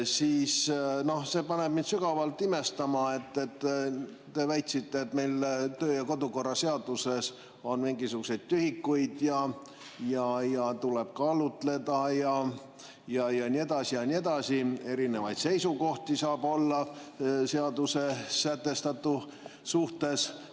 Mind paneb sügavalt imestama, et te väitsite, et meil töö‑ ja kodukorra seaduses on mingisugused tühikud, tuleb kaalutleda ja nii edasi, et erinevaid seisukohti saab olla seaduses sätestatu suhtes.